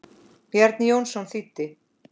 Bjarni Jónsson þýddi.